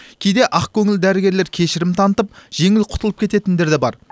кейде ақкөңіл дәрігерлер кешірім танытып жеңіл құтылып кететіндер де бар